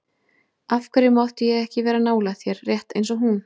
Af hverju mátti ég ekki vera nálægt þér, rétt eins og hún?